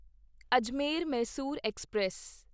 Ajmer Mysore express